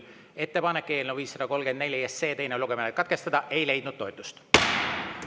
Ettepanek eelnõu 534 teine lugemine katkestada ei leidnud toetust.